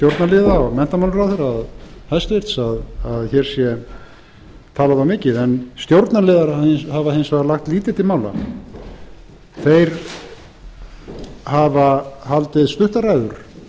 stjórnarliða og hæstvirtur menntamálaráðherra að hér sé talað of mikið en stjórnarliðar hafa hins vegar lagt lítið til mála þeir hafa haldið stuttar ræður